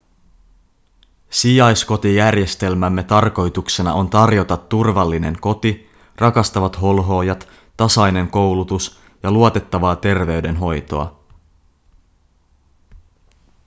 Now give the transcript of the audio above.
sijaiskotijärjestelmämme tarkoituksena on tarjota turvallinen koti rakastavat holhoojat tasainen koulutus ja luotettavaa terveydenhoitoa